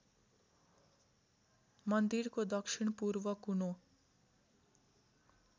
मन्दिरको दक्षिणपूर्व कुनो